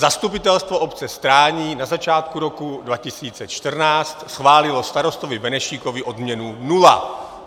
Zastupitelstvo obce Strání na začátku roku 2014 schválilo starostovi Benešíkovi odměnu nula.